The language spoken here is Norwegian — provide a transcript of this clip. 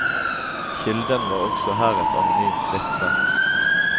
Kilden var også her et anonymt vitne.